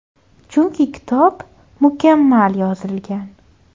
Chunki kitob mukammal yozilgan.